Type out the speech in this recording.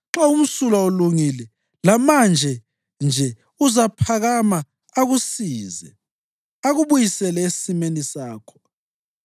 nxa umsulwa ulungile, lamanje nje uzaphakama akusize akubuyisele esimeni sakho.